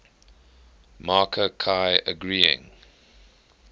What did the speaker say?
marker ki agreeing